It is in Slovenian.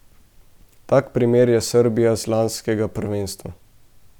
Tak primer je Srbija z lanskega prvenstva.